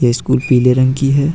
यह स्कूल पीले रंग की है।